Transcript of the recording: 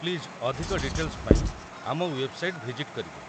Please ଅଧିକ details ପାଇଁ ଆମ ୱେବ୍‌ସାଇଟ୍‌ ଭିଜିଟ୍ କରିବେ ।